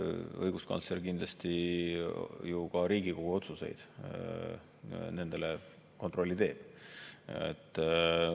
Õiguskantsler kindlasti ju ka Riigikogu otsustele kontrolli teeb.